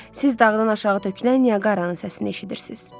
Siz dağdan aşağı tökülən Nyaqara-nın səsini eşidirsiz.